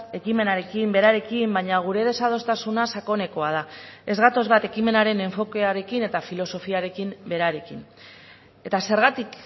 ekimenarekin berarekin baina gure desadostasuna sakonekoa da ez gatoz bat ekimenaren enfokearekin eta filosofiarekin berarekin eta zergatik